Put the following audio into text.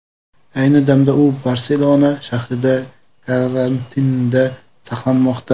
Ayni damda u Barselona shahrida karantinda saqlanmoqda.